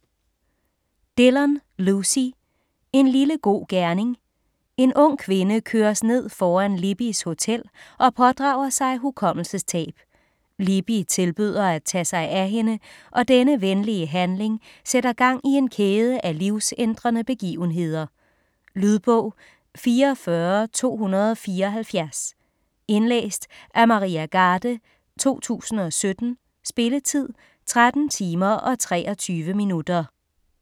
Dillon, Lucy: En lille god gerning En ung kvinde køres ned foran Libbys hotel, og pådrager sig hukommelsestab. Libby tilbyder at tage sig af hende, og denne venlige handling sætter gang i en kæde af livsændrende begivenheder. Lydbog 44274 Indlæst af Maria Garde, 2017. Spilletid: 13 timer, 23 minutter.